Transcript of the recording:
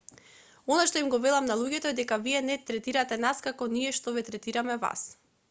она што им го велам на луѓето е дека вие не третирате нас како ние што ве третираме вас